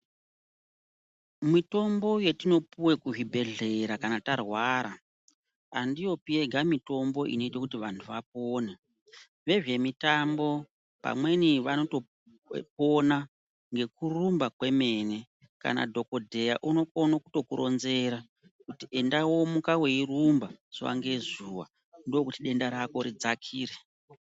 Mitombo yetinopuwe kuzvibhedhlera kana tarwara andiyopi yega mitombo unoita kuti vantu vapone vezvemitambo vamweni vanotopona nekurumba kwemene kana dhokodheya unokone kutokuronzera kuti enda womuka weirumba zuwa ngezuwa ndokuti denda rako ridzakire.